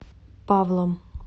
павлом